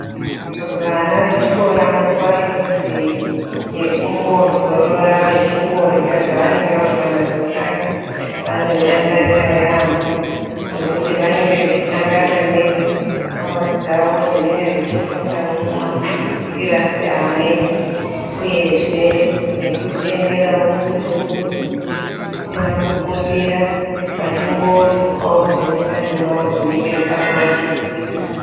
Vana vechikora nguva yenozi yekumbozorora vechomborya zvavanenge vabva nazvo kanyi vanoidakarira yamho ngekuti vanenge vachisangana neshamwari dzavo dzinenge dzichifundawo mumakirasi amweni uyezge nekuzvienderawo kuzvimbusi zvisina kukumbira veimbosukawo zvemundani mwavo zvinenge zvakuvashatira